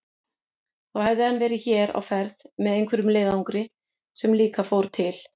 Þá hefði hann verið hér á ferð með einhverjum leiðangri sem líka fór til